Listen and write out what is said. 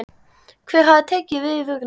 Hver hafi tekið við vörunni?